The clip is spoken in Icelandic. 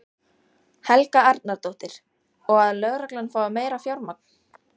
Helga Arnardóttir: Og að lögreglan fái meira fjármagn?